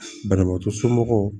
Banabaatɔ somɔgɔw